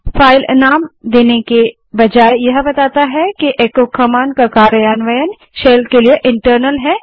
अतः फाइलनेम देने के बजाय यह बताता है कि एको कमांड का कार्यान्वयन शेल के लिए इंटरनल है